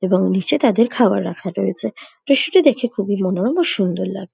এবং নিচে তাদের খাবার রাখা রয়েছে দৃশ্যটি দেখে খুবই মনোরম ও সুন্দর লাগ--